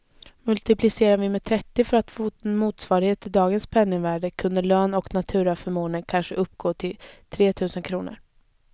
Multiplicerar vi med trettio för att få en motsvarighet till dagens penningvärde, kunde lön och naturaförmåner kanske uppgå till tretusen kronor.